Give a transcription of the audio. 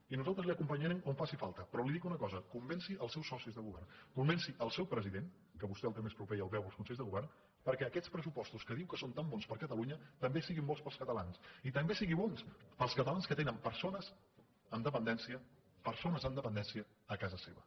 i nosaltres l’acompanyarem on faci falti però li dic una cosa convenci els seus socis de govern convenci el seu president que vostè el té més proper i el veu als consells de govern perquè aquests pressupostos que diu que són tan bons per a catalunya també siguin bons per als catalans i també siguin bons per als catalans que tenen persones amb dependència a casa seva